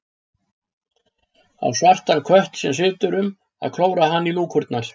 Á svartan kött sem situr um að klóra hana í lúkurnar.